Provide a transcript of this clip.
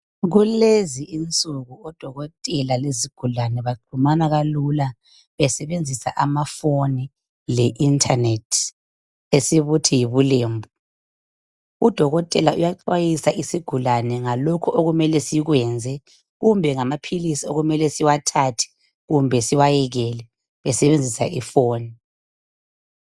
Kulezi insuku odokotela lezigulane baxhumana kalula besebenzisa amafoni le"internet" esibuthi yibulembu. Udokotela uyaxwayisa isigulane ngalokho okumele sikwenze kumbe ngamaphilisi okumele siwathathe kumbe siwayekele esebenzisa ifoni.